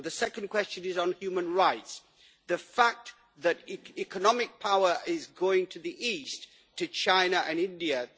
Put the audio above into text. The second question is on human rights and the fact that economic power is going to the East, to China and India.